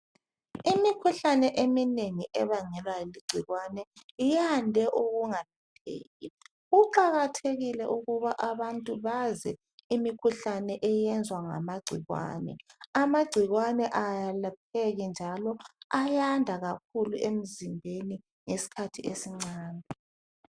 Imikhuhlane eminengi ebangelwa ligcikwane iyande ukungalapheki kuqakathekile ukuba abantu baze imikhuhlane eyenzwa ngamagcikwane, amagcikwane ayelapheki njalo ayanda kakhulu emzimbeni ngesikhathi esincane.